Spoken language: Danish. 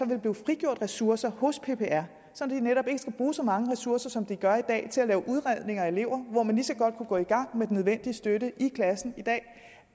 vil blive frigjort ressourcer hos ppr så de netop ikke skal bruge så mange ressourcer som de gør i dag til at lave udredninger af elever hvor man lige så godt kunne gå i gang med den nødvendige støtte i klassen i dag